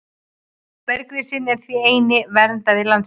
Bergrisinn er því ekki eini verndari landsins.